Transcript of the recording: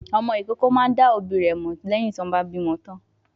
Ọmọ ìkókó máa ń dá òbí rẹ̀ mọ̀ lẹ́yìn tí wọ́n bá bí wọn tán.